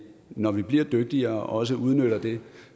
når vi bliver dygtigere også udnytter det